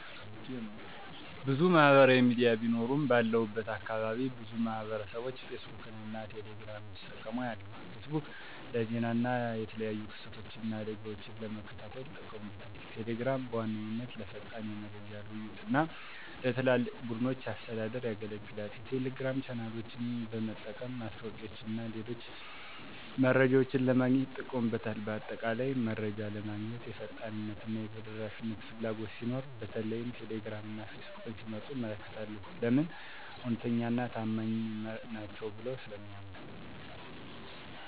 **ብዙ ማህበራዊ ሚዲያ ቢኖሩም፦ ባለሁበት አካባቢ ብዙ ማህበረሰብቦች ፌስቡክን እና ቴሌ ግራምን ሲጠቀሙ አያለሁ፤ * ፌስቡክ: ለዜና እና የተለያዩ ክስተቶችን እና አደጋወችን ለመከታተል ይጠቀሙበታል። * ቴሌግራም: በዋነኛነት ለፈጣን የመረጃ ልውውጥ እና ለትላልቅ ቡድኖች አስተዳደር ያገለግላል። የቴሌግራም ቻናሎችን በመጠቀም ማስታወቂያወችንና የተለያዩ መረጃዎችን ለማግኘት ይጠቀሙበታል። በአጠቃላይ፣ መረጃ ለማግኘት የፍጥነትና የተደራሽነት ፍላጎት ሲኖር በተለይም ቴሌግራም እና ፌስቡክን ሲመርጡ እመለከታለሁ። *ለምን? እውነተኛና ታማኝ ናቸው ብለው ስለሚያምኑ።